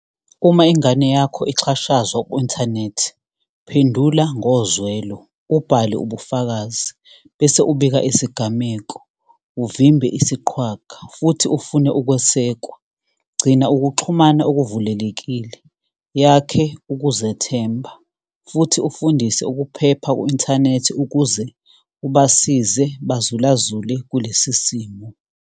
Uma ingane yakho ixhashazwa ku-inthanethi, phendula ngozwelo, ubhale ubufakazi, bese ubika isigameko, uvimbe isiqhwaga, futhi ufune ukwesekwa. Gcina ukuxhumana okuvulelekile, yakhe ukuzethemba, futhi ufundise ukuphepha ku-inthanethi ukuze ubasize bazulazule kulesi simo.